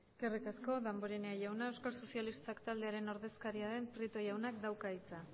eskerrik asko damborenea jauna euskal sozialistak taldearen ordezkaria den prieto jaunak dauka hitza